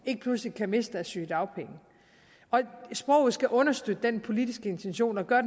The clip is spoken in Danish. ikke pludselig kan miste deres sygedagpenge og sproget skal understøtte den politiske intention og gør